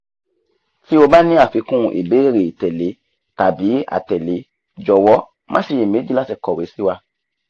tí o bá ní àfikún ìbéèrè ìtẹ̀lé tàbí àtẹ̀lé jọ̀wọ́ má ṣiyèméjì láti kọ̀wé sí wa